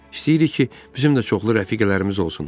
İstəyirik ki, bizim də çoxlu rəfiqələrimiz olsun.